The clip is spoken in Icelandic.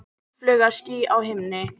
Óðfluga ský á himni.